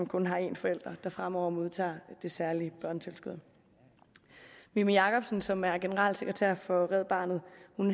kun har en forælder som fremover modtager det særlige børnetilskud mimi jakobsen som er generalsekretær for red barnet